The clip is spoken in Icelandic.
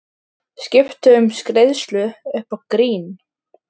Skipti um greiðslu upp á grín.